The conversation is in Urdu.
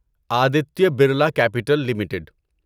Aditya Birla Capital limited